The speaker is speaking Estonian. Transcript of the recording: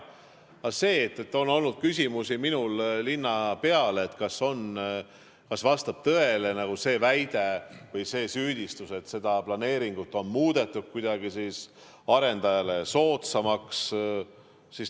Aga minul on olnud küsimusi linnapeale, kas vastab tõele see väide või süüdistus, et seda planeeringut on muudetud kuidagi arendajale soodsamaks.